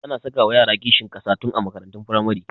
Ana sakawa yara kishin ƙasa tun a makarantun firamare